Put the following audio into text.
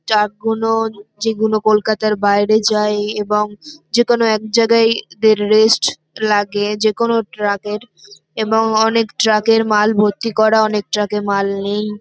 Truck গুলোর যেগুলো কলকাতার বাইরে যায় এবং যেকোনো এক জায়গায় এদের রেস্ট লাগে। যেকোনো ট্রাক -এর এবং অনেক ট্রাক -এর মাল ভর্তি করা অনেক ট্রাক -এ মাল নেই ।